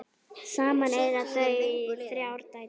Saman eiga þau þrjár dætur.